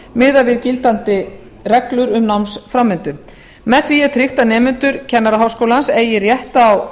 miðað við gildandi reglur um námsframvindu með því er tryggt að nemendur kennaraháskólans eigi rétt á